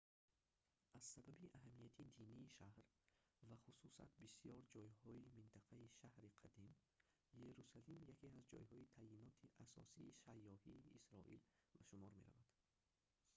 аз сабаби аҳамияти динии шаҳр ва хусусат бисёр ҷойҳои минтақаи шаҳри қадим иерусалим яке аз ҷойҳои таъйиноти асосии сайёҳии исроил ба шумор меравад